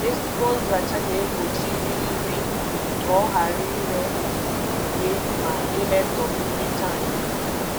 Ezigbo nzacha na-egbochi irighiri nri ka ọ ghara ire ure ma imetọ mmiri tankị.